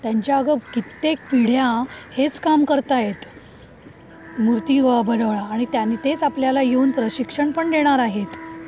त्यांच्या अगं कित्येक पिढ्या हेच काम करतायेत. मूर्ती बनवणं आणि त्यांनी तेच आपल्या ला येऊन प्रशिक्षणपण देणार आहेत.